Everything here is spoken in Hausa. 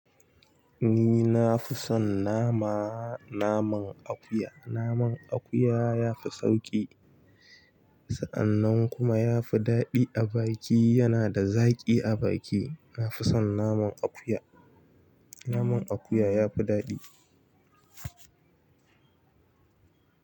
Ni nafi son nama, naman akuya, naman akuya yafi sauƙi kuma sa'an kuma yafi daɗi a baki, yana da zaƙi a baki. Na fi son naman akuya. Naman akuya ya fi daɗi.